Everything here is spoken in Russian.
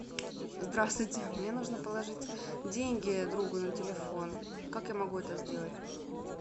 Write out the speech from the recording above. здравствуйте мне нужно положить деньги другу на телефон как я могу это сделать